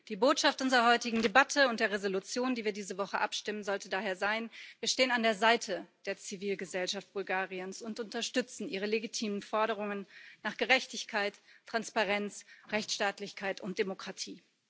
Die Botschaft unserer heutigen Debatte und der Entschließung, über die wir diese Woche abstimmen, sollte daher sein Wir stehen an der Seite der Zivilgesellschaft Bulgariens und unterstützen ihre legitimen Forderungen nach Gerechtigkeit, Transparenz, Rechtsstaatlichkeit und Demokratie.